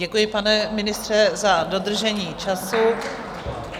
Děkuji, pane ministře, za dodržení času.